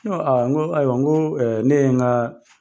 Ne ko n ko ayiwa n ko ne ye n ka